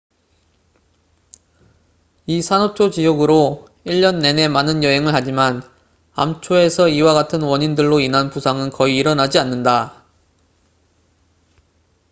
이 산호초 지역으로 일 년 내내 많은 여행을 하지만 암초에서 이와 같은 원인들로 인한 부상은 거의 일어나지 않는다